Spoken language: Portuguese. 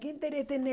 Que interesse tem